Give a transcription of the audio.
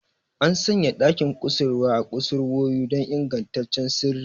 An sanya ɗakin kusurwa a kusurwoyi don ingantaccen sirri.